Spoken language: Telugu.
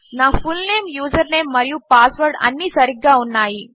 నాfullname యూజర్నేమ్ మరియుపాస్వర్డ్అన్నీసరిగ్గాఉన్నాయి